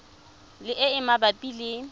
le e e mabapi le